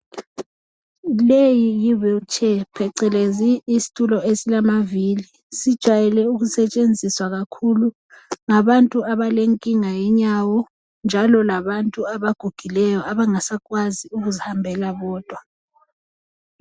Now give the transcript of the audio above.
Leyi yi"wheel chair" phecelezi isitulo esilamavili. Sijayele ukusetshenziswa kakhulu ngabantu abalenkinga yenyawo njalo labantu abaguguileyo abangasakwazi ukuzihambela bodwa.